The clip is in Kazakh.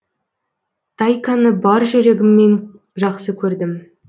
тайканы бар жүрегіммен жақсы көрдім